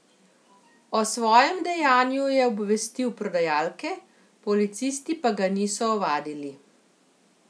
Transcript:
O svojem dejanju je obvestil prodajalke, policisti pa ga niso ovadili.